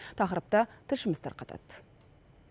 тақырыпты тілшіміз тарқатады